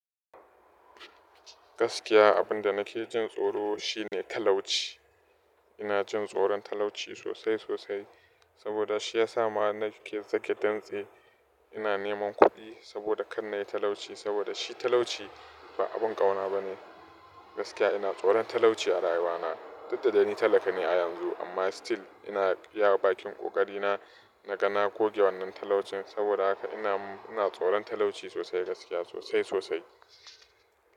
Gaskiya abunda nake jin tsoro shine talauci. Ina jin tsoron talauci sosai sosai, saboda shi ya sa ma nake sake dantse. Ina neman kuɗi saboda kanayi talauci saboda shi talauci ba abin ƙauna bane. Gaskiya ina tsoron talauci a rayuwa na. Tudda dai ni talaka ne a yanzu amma still ina iya bakin ƙoƙari na, na kana goge wannan talaucin saboda haka ina, ina tsoron talauci sosai gaskiya sosai sosai.